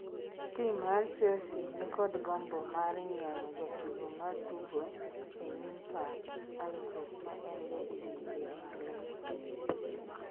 Tim mar Chelsea nikod gombo mar nyiewo jatugo matugo e nyim pap, Andru ma en ja higni piero ariyo